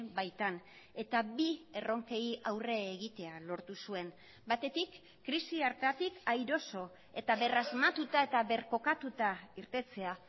baitan eta bi erronkei aurre egitea lortu zuen batetik krisi hartatik airoso eta berrasmatuta eta birkokatuta irtetea